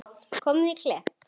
Komið á Klepp?